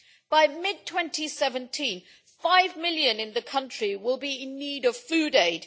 By mid 2017, five million in the country will be in need of food aid.